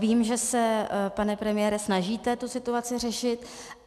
Vím, že se, pane premiére, snažíte tu situaci řešit.